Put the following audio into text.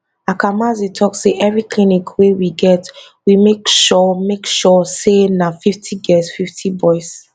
akamanzi tok say evri clinic wey we get we make sure make sure say na 50 girls 50 boys